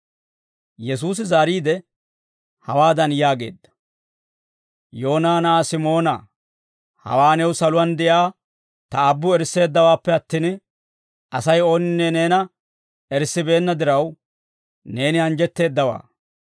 Yesuusi zaariide, hawaadan yaageedda; «Yoona na'aa Simoonaa, hawaa new saluwaan de'iyaa ta Aabbu erisseeddawaappe attin, Asay ooninne neena erissibeenna diraw, neeni anjjetteeddaawaa.